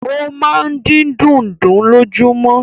O máa n din dùndún lojumọ.